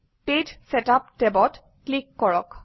page setup টেবত click কৰক